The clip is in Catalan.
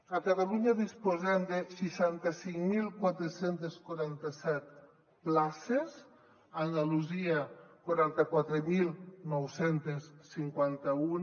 a catalunya disposem de seixanta cinc mil quatre cents i quaranta set places a andalusia quaranta quatre mil nou cents i cinquanta un